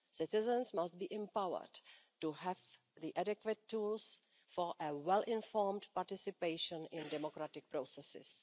Citizens must be empowered to have the adequate tools for a well informed participation in democratic processes.